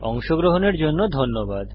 অংশগ্রহনের জন্য ধন্যবাদ